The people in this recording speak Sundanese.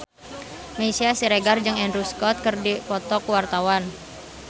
Meisya Siregar jeung Andrew Scott keur dipoto ku wartawan